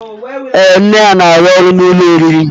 Ee nne ya n'arụ ọrụ n'ụlọ oriri.